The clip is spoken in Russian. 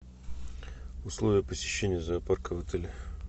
условия посещения зоопарка в отеле